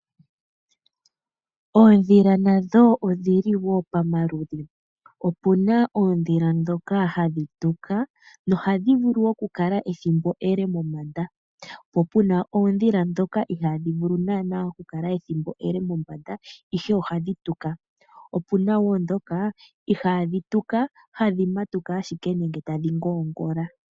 Oondhila nadho odhi li wo pamaludhi. Opu na oondhila ndhoka hadhi tuka. Ohadhi vulu okukala ethimbo ele mombanda, po pu na oondhila ndhoka ihaadhi vulu naanaa okukala ethimbo ele mombanda ihe ohadhi tuka. Opu wo ndhoka ihaadhi tuka, tadhi matuka ashike nenge tadhi ngoongola.